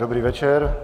Dobrý večer.